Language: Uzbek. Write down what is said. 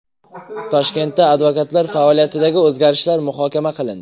Toshkentda advokatlar faoliyatidagi o‘zgarishlar muhokama qilindi.